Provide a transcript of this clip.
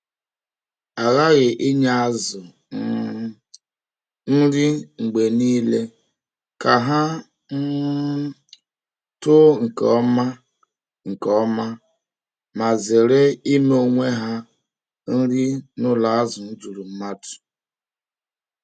A ghaghị inye azụ um nri mgbe niile ka ha um too nke ọma nke ọma ma zere ime onwe ha nri n’ụlọ azụ juru mmadụ.